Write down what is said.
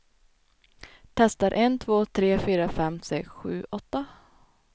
Testar en två tre fyra fem sex sju åtta.